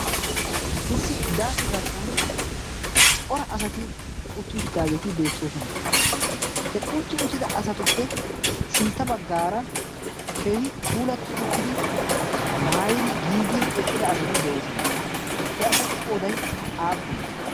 Issi daase giddon cora asati utti uttidageetti beettoosona. He utti uttida asatuppe sintta baggaara keehi puulatti uttidi maayidi giigidi eqqida asati de'osoona. He asatu qooday appunne?